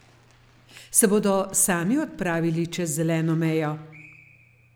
Se bodo sami odpravili čez zeleno mejo?